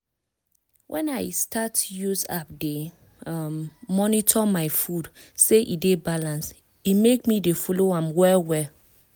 when i start use app dey um monitor my food say e dey balanced e make me dey follow am well well.